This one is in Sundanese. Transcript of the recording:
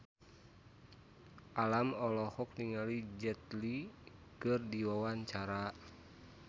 Alam olohok ningali Jet Li keur diwawancara